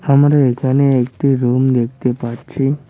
আমরা এখানে একটি রুম দেখতে পাচ্ছি।